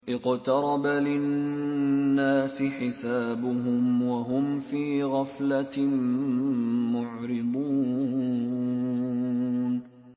اقْتَرَبَ لِلنَّاسِ حِسَابُهُمْ وَهُمْ فِي غَفْلَةٍ مُّعْرِضُونَ